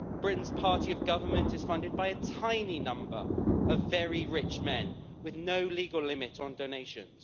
Britain's party of government is funded by a tiny number of very rich men with no legal limit on donations.